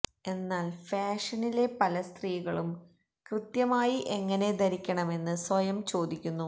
എന്നാൽ ഫാഷനിലെ പല സ്ത്രീകളും കൃത്യമായി എങ്ങനെ ധരിക്കണമെന്ന് സ്വയം ചോദിക്കുന്നു